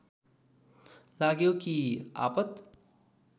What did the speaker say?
लाग्यो कि आपत